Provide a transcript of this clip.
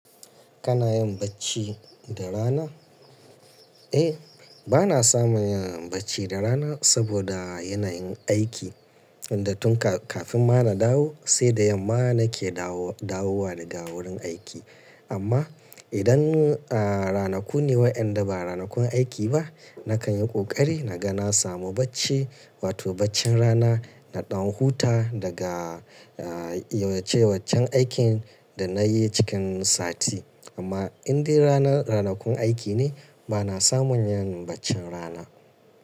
Kana yin bacci da rana? Eh, bana samun yin bacci da rana saboda yanayin aikin da tun kafin ma na dawo, sai da yamma nake dawowa daga wurin aiki. Amma idan, a ranaku ne wayanda ba ranakun aiki ba, nakan yi ƙoƙari na ga na samu bacci, wato baccin rana. Na ɗan huta daga, ah, yawace waccen aikin da nayi cikin sati. Amma indai rana ranakun aiki ne, bana samun yin baccin rana.